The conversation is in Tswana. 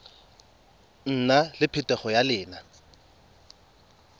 nna le phetogo ya leina